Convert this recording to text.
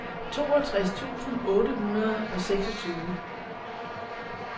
toogtres tusind otte hundrede og seksogtyve